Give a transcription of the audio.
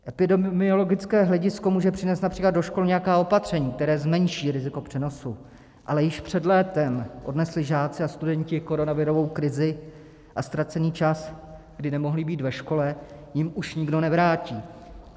Epidemiologické hledisko může přinést například do škol nějaká opatření, která zmenší riziko přenosu, ale již před létem odnesli žáci a studenti koronavirou krizi a ztracený čas, kdy nemohli být ve škole, jim už nikdo nevrátí.